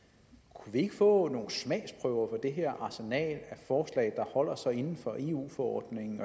kunne vi ikke få nogle smagsprøver på det her arsenal af forslag der holder sig inden for eu forordningen